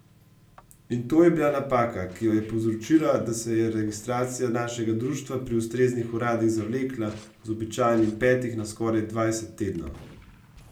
In to je bila napaka, ki je povzročila, da se je registracija našega društva pri ustreznih uradih zavlekla z običajnih petih na skoraj dvajset tednov.